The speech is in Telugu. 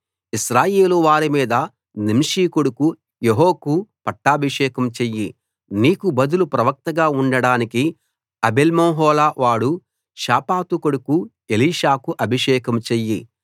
ఇశ్రాయేలు వారి మీద నింషీ కొడుకు యెహూకు పట్టాభిషేకం చెయ్యి నీకు బదులు ప్రవక్తగా ఉండడానికి అబేల్మెహోలా వాడు షాపాతు కొడుకు ఎలీషాకు అభిషేకం చెయ్యి